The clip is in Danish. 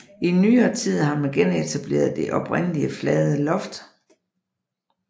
I nyere tid har man genetableret det oprindelige flade loft